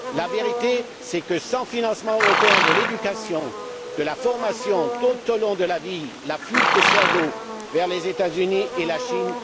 La vérité est que, sans financement européen de l'éducation et de la formation tout au long de la vie, la fuite des cerveaux va s'accélérer vers les États Unis et la Chine.